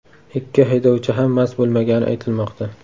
Ikki haydovchi ham mast bo‘lmagani aytilmoqda.